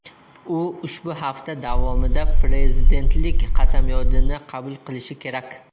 U ushbu hafta davomida prezidentlik qasamyodini qabul qilishi kerak.